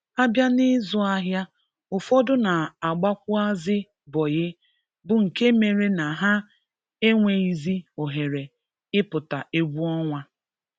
A bịa n'ịzụ ahịa, ụfọdụ na-agbakwuazị 'bọyị' bụ nke mere na ha enweghizi ohere ị pụta egwu ọnwa